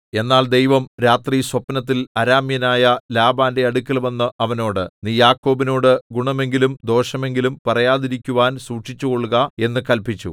എന്നാൽ ദൈവം രാത്രി സ്വപ്നത്തിൽ അരാമ്യനായ ലാബാന്റെ അടുക്കൽവന്ന് അവനോട് നീ യാക്കോബിനോട് ഗുണമെങ്കിലും ദോഷമെങ്കിലും പറയാതിരിക്കുവാൻ സൂക്ഷിച്ചുകൊൾക എന്നു കല്പിച്ചു